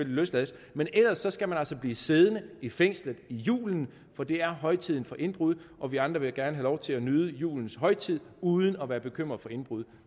løslades men ellers skal man altså blive siddende i fængslet julen for det er højtiden for indbrud og vi andre vil gerne lov til at nyde julens højtid uden at være bekymret for indbrud